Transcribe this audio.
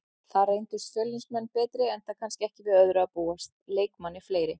Þar reyndust Fjölnismenn betri enda kannski ekki við öðru að búast, leikmanni fleiri.